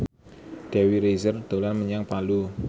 Dewi Rezer dolan menyang Palu